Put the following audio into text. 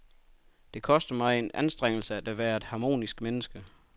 Det koster mig en anstrengelse at være et harmonisk menneske.